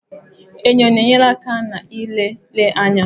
Enyo na-enyere aka n'ịlele anya.